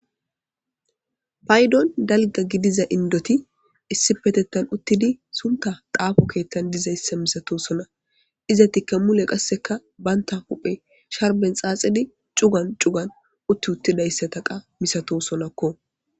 Paydon dalga gidiza indoti issi petettan uttidi sunta daafo keettan dizayssa misato sona izatikka mule qasseka baynta huphe sharben xaaxidi cugan cugan utti uttidayssataqa misato sonakko.